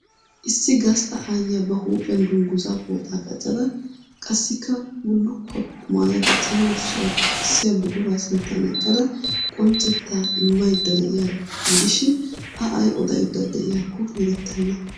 Issi gastta aayiya ba huuphphiyaan dungguzzaa pooxxaa qaccada qassikka bulukkuwa qumayada cenggurssaa xoqqissiya buquraa sinttaan eqqada qoccettaa immaydda de'iyaaro gidishiin A ay odaydda de'iyakko erettenna.